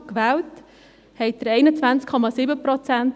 gewählte Frauen hatten Sie 21,7 Prozent.